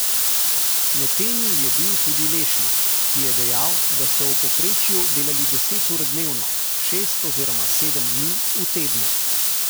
Med temi je bil tudi Lešnik, ki je dejal, da so v povprečju delali deset ur dnevno, šest oziroma sedem dni v tednu.